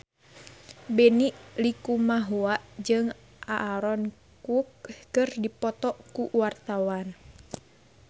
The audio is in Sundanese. Benny Likumahua jeung Aaron Kwok keur dipoto ku wartawan